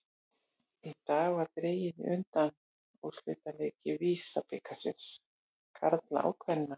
Í dag var dregið í undanúrslitaleiki VISA-bikars karla og kvenna.